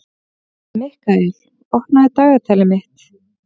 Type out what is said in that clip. Mikkael, opnaðu dagatalið mitt.